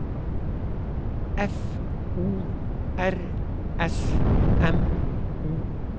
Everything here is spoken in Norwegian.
F O R S M O